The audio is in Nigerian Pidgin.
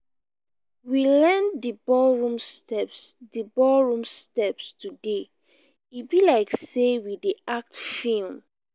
we learn di ballroom steps di ballroom steps today e be like sey we dey act film.